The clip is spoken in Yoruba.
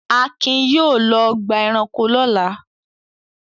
Akin yóò lọ ọgbà-ẹranko lọ́la.